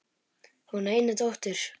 Hún á eina dóttur.